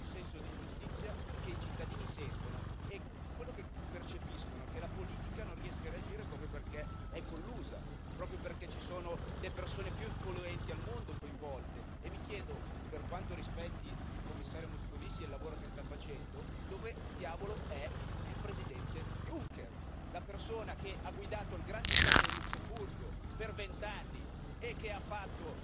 Questo è un senso di ingiustizia che i cittadini sentono e quello che percepiscono è che la politica non riesce a reagire proprio perché è collusa, proprio perché sono coinvolte le persone più influenti al mondo. Mi chiedo, per quanto rispetti il Commissario Moscovici e il lavoro che sta facendo, dove diavolo è il Presidente Juncker, la persona che ha guidato il Granducato del Lussemburgo per vent'anni e che ha fatto